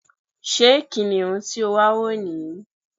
Ṣé kìnìún tí o wà wo ní yí?